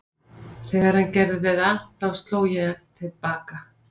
Þegar hann gerði það þá sló ég hann til baka.